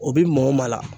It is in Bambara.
O bi mɔ la